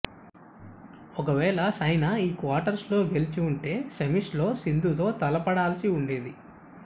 ఒకవేళ సైనా ఈ క్వార్టర్స్లో గెలిచి ఉంటే సెమీస్లో సింధుతో తలపడాల్సి ఉండేది